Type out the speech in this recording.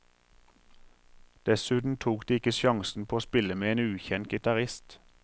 Dessuten tok de ikke sjansen på å spille med en ukjent gitarist.